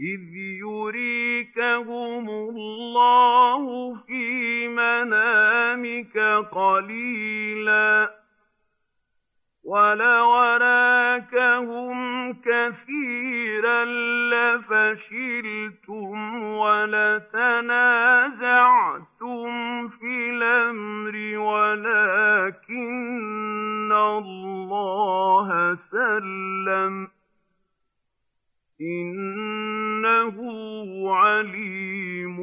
إِذْ يُرِيكَهُمُ اللَّهُ فِي مَنَامِكَ قَلِيلًا ۖ وَلَوْ أَرَاكَهُمْ كَثِيرًا لَّفَشِلْتُمْ وَلَتَنَازَعْتُمْ فِي الْأَمْرِ وَلَٰكِنَّ اللَّهَ سَلَّمَ ۗ إِنَّهُ عَلِيمٌ